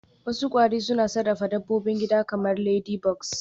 Wasu kwari suna sarrafa dabbobin gida kamar ladybugs